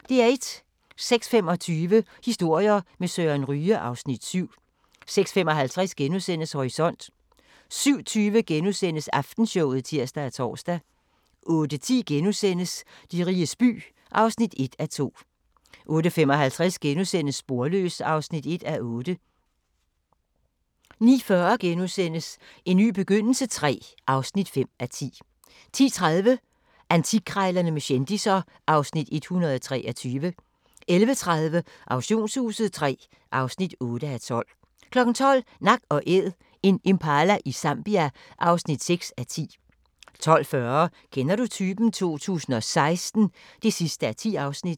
06:25: Historier med Søren Ryge (Afs. 7) 06:55: Horisont * 07:20: Aftenshowet *(tir og tor) 08:10: De riges by (1:2)* 08:55: Sporløs (1:8)* 09:40: En ny begyndelse III (5:10)* 10:30: Antikkrejlerne med kendisser (Afs. 123) 11:30: Auktionshuset III (8:12) 12:00: Nak & Æd – en impala i Zambia (6:10) 12:40: Kender du typen? 2016 (10:10)